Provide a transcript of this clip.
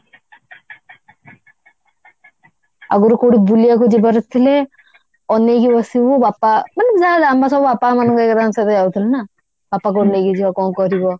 ଆଗରୁ କଉଠି ବୁକିବାକୁ ଯିବାର ଥିଲେ ଅନେଇକି ବସିବୁ ବାପା ମାନେ ଆମେ ସବୁ ବାପା ମାନଙ୍କ ଆରିକାଙ୍କ ସହ ଯାଉଥିଲୁ ନା ବାପା କଉଠି ନେଇକି ଜୀବ କଣ କରିବ